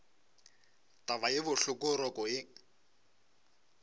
taba ye bohloko roko ye